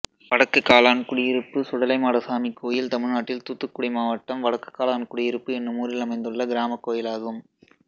வடக்குகாலான்குடியிருப்பு சுடலைமாடசாமி கோயில் தமிழ்நாட்டில் தூத்துக்குடி மாவட்டம் வடக்குகாலான்குடியிருப்பு என்னும் ஊரில் அமைந்துள்ள கிராமக் கோயிலாகும்